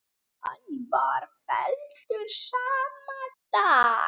Hann var felldur sama dag.